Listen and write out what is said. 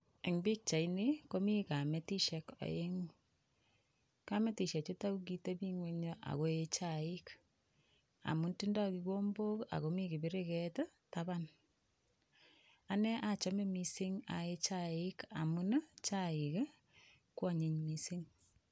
Eng' pikchaini komi kametishek oeng'u kamitishechuto kokiteping'wenyo ako ee chaik amun tindoi kikombok akomi kipiriket taban ane achome mising' ae chaik amun chaik kwonyiny mising'